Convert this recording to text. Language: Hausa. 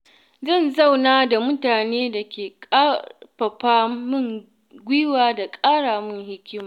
Zan zauna da mutane da ke ƙarfafa min gwiwa da ƙara min hikima.